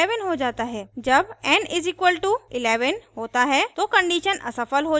जब n = 11 होता है तो condition असफल हो जाती है और loop रुक जाता है